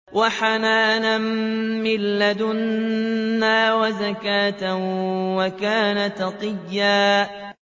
وَحَنَانًا مِّن لَّدُنَّا وَزَكَاةً ۖ وَكَانَ تَقِيًّا